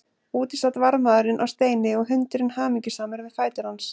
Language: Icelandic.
Úti sat varðmaðurinn á steini og hundurinn hamingjusamur við fætur hans.